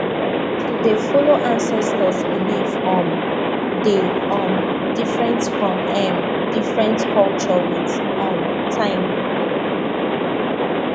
to dey follow ancestors belief um dey um different for um different culture with um time